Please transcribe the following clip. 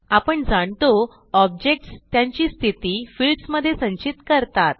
आपण जाणतो ऑब्जेक्ट्स त्यांची स्थिती फील्ड्स मधे संचित करतात